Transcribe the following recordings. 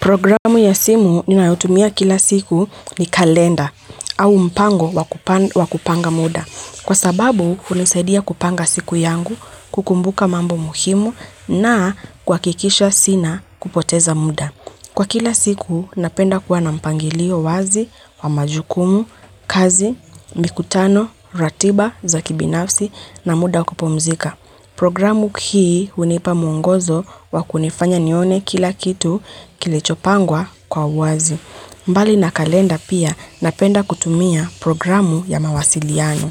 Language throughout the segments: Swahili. Programu ya simu ninayotumia kila siku ni kalenda au mpango wa kupanga muda. Kwa sababu, hunisadia kupanga siku yangu, kukumbuka mambo muhimu na kuhakikisha sina kupoteza muda. Kwa kila siku, napenda kuwa na mpangilio wazi wa majukumu, kazi, mikutano, ratiba, za kibinafsi na muda wa kupumzika. Programu hii hunipa mwongozo wa kunifanya nione kila kitu kilichopangwa kwa wazi. Mbali na kalenda pia, napenda kutumia programu ya mawasiliano.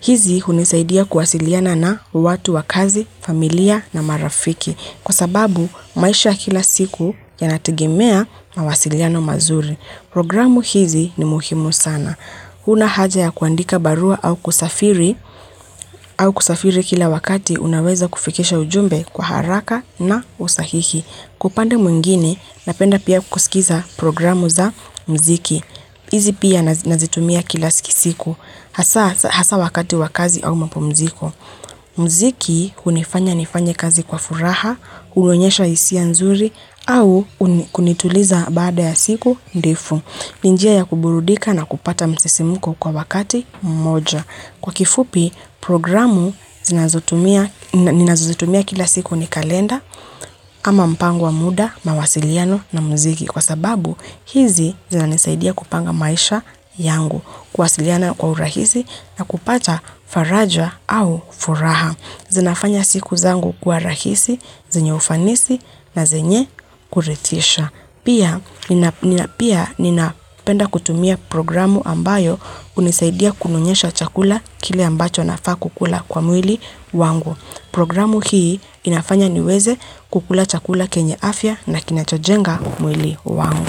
Hizi hunisaidia kuwasiliana na watu wa kazi, familia na marafiki kwa sababu maisha ya kila siku yanategimea mawasiliano mazuri. Programu hizi ni muhimu sana. Huna haja ya kuandika barua au kusafiri kila wakati unaweza kufikisha ujumbe kwa haraka na usahihi. Kwa upande mwingine, napenda pia kusikiza programu za muziki. Hizi pia nazitumia kila siku. Hasa wakati wa kazi au mapumziko. Muziki hunifanya nifanye kazi kwa furaha, huonyesha hisia nzuri au kunituliza baada ya siku ndefu. Ni njia ya kuburudika na kupata msisimuko kwa wakati mmoja. Kwa kifupi, programu ninazozitumia kila siku ni kalenda, ama mpango wa muda, mawasiliano na muziki. Kwa sababu, hizi zinanisaidia kupanga maisha yangu. Kuwasiliana kwa urahisi na kupata faraja au furaha. Zinafanya siku zangu kuwa rahisi, zenye ufanisi na zenye kuridhisha. Pia, ninapenda kutumia programu ambayo hunisaidia kunionyesha chakula kile ambacho nafaa kukula kwa mwili wangu. Programu hii inafanya niweze kukula chakula kenye afya na kinachojenga mwili wangu.